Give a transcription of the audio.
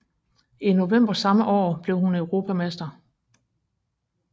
I november samme år var blev hun europamester